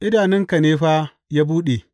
Idanunka ne fa ya buɗe.